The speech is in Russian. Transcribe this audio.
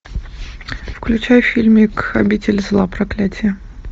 включай фильмик обитель зла проклятие